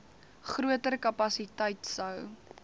groter kapasiteit sou